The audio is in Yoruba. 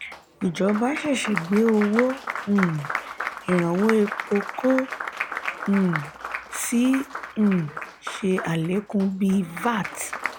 ìjọba ṣeéṣe gbé owó um iranwọ èpo ko um sí um ṣe alekun bí vat